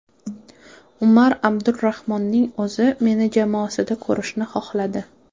Umar Abdulrahmonning o‘zi meni jamoasida ko‘rishni xohladi.